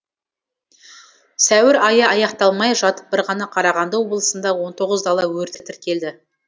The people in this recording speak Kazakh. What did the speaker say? сәуір айы аяқталмай жатып бір ғана қарағанды облысында он тоғыз дала өрті тіркелді